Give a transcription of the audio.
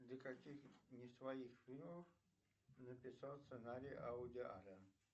для каких не своих фильмов написал сценарий вуди аллен